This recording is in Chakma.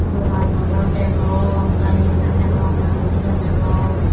dogano gor degong bike ekkan degong manuj di jon degong.